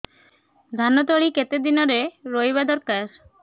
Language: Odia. ଧାନ ତଳି କେତେ ଦିନରେ ରୋଈବା ଦରକାର